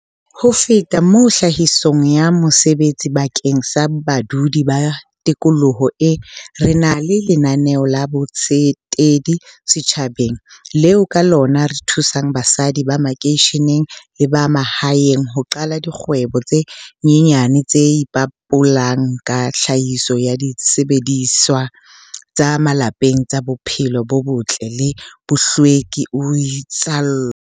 "Ho fetafeta moo tlhahisong ya mesebetsi bakeng sa badudi ba tikoloho eo, re na le lena neo la botsetedi setjhabeng, leo ka lona re thusang basadi ba makeisheneng le ba mahaeng ho qala dikgwebo tse nyenyane tse ipabolang ka tlhahiso ya disebediswa tsa malapeng tsa bophelo bo botle le bohlweki," o itsalo.